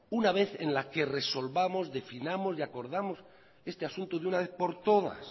una vez en la que resolvamos definamos y acordamos este asunto de una vez por todas